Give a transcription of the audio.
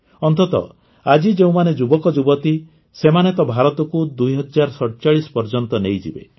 ଅନ୍ତତଃ ଆଜି ଯେଉଁମାନେ ଯୁବକଯୁବତୀ ସେମାନେ ତ ଭାରତକୁ ୨୦୪୭ ପର୍ଯ୍ୟନ୍ତ ନେଇଯିବେ